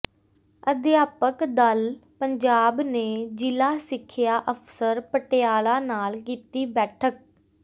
ਅਧਿਆਪਕ ਦਲ ਪੰਜਾਬ ਨੇ ਜ਼ਿਲ੍ਹਾ ਸਿੱਖਿਆ ਅਫ਼ਸਰ ਪਟਿਆਲਾ ਨਾਲ ਕੀਤੀ ਬੈਠਕ